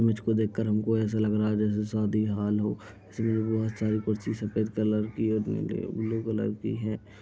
Image को देखकर हमको ऐसा लग रहा है जैसे शादी हॉल हो सिविल वॉर टाइप सारी कुर्सी सफ़ेद कलर की और विंडो ब्लू कलर की है।